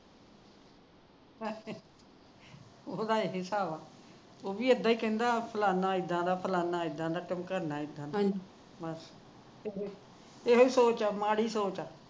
ਉਹਦਾ ਇਹੀ ਹਿਸਾਬ ਐ ਵੀ ਇੱਦਾ ਹੀ ਕਹਿੰਦਾ ਫਲਾਣਾ ਇੱਦਾ ਦਾ ਫਲਾਣਾ ਇੱਦਾ ਦਾ ਠਮਕਾਣਾ ਇੱਦਾ ਦਾ ਇਹੀ ਸੋਚ ਐ ਮਾੜੀ ਸੋਚ ਹੈ